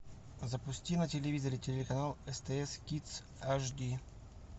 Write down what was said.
запусти на телевизоре телеканал стс кидс аш ди